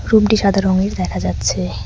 রুমটি সাদা রঙের দেখা যাচ্ছে।